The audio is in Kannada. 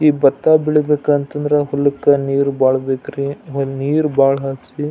ಈ ಭತ್ತ ಬೆಳೀಬೇಕು ಅಂತಂದ್ರೆ ಹುಲ್ಲು ಕ್ಕ ನೀರು ಭಾಳ ಬೇಕ್ರಿ ನೀರು ಭಾಳ ಹರಿಸಿ.